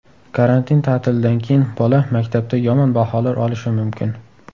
Karantin ta’tilidan keyin bola maktabda yomon baholar olishi mumkin.